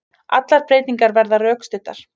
Allar breytingar verði rökstuddar